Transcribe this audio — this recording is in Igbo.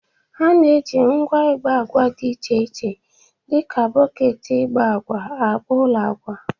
A na-eji ngwa igba agwa dị iche iche dịka bọketi igba agwa agba ụlọ agwa